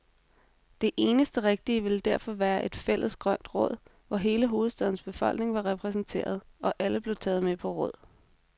Det eneste rigtige ville derfor være et fælles grønt råd, hvor hele hovedstadens befolkning var repræsenteret, og alle blev taget med på råd.